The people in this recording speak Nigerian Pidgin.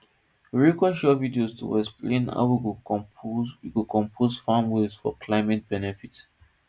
we record short video to explain how we go compost we go compost farm waste for climate benefit